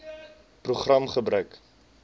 program gebruik